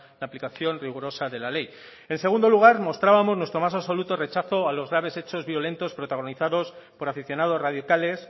la aplicación rigurosa de la ley en segundo lugar mostrábamos nuestro más absoluto rechazo a los graves hechos violentos protagonizados por aficionados radicales